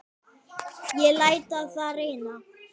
Ég læt á það reyna.